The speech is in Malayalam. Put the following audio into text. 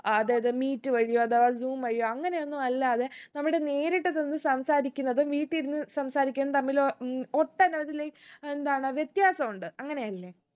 അതായത് meet വഴിയോ അഥവാ zoom വഴിയോ അങ്ങനെ ഒന്നു അല്ലാതെ നമ്മള് നേരിട്ട് ചെന്ന് സംസാരിക്കുന്നതും വീട്ടി ഇരുന്ന് സംസാരിക്കുന്നതു തമ്മില് ഏർ ഉം ഒട്ടനവധില് എന്താണ് വ്യത്യാസമുണ്ട് അങ്ങനെല്ലേ